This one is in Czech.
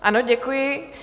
Ano, děkuji.